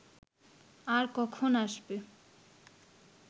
আর কখন আসবে